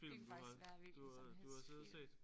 Det kunne faktisk være hvilken som helst film